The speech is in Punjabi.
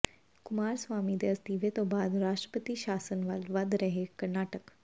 ਕੁਮਾਰਸਵਾਮੀ ਦੇ ਅਸਤੀਫ਼ੇ ਤੋਂ ਬਾਅਦ ਰਾਸ਼ਟਰਪਤੀ ਸ਼ਾਸਨ ਵੱਲ ਵੱਧ ਰਿਹੈ ਕਰਨਾਟਕ